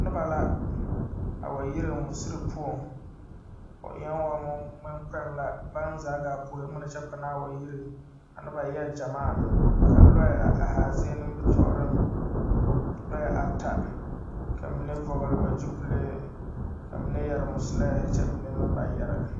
Noba la a wa yire misiri poͻŋ, o eԑԑ wo ŋmeŋkpoŋ la baŋ zaa gaa puori ŋmene kyԑ panaa wa yire. A noba eԑ gyamaa, ka lͻԑ a araa zie nimbitͻͻreŋ lͻͻ ata. Ka mine vͻgele ba gyupile ka mine yԑre musulԑԑhe kyԑ mine meŋ ba yԑre.